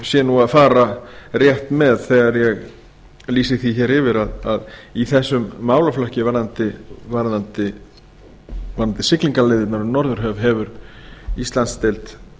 ég sé að fara rétt með þegar ég lýsi því hér yfir að í þessum málaflokki varðandi siglingaleiðirnar um norðurhöf hefur íslandsdeild